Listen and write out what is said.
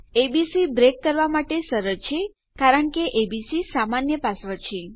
ABC break કરવા માટે સરળ છે જેમ વારો આવે છે કારણ કે એબીસી સામાન્ય પાસવર્ડ છે